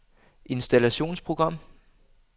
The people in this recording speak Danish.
installationsprogram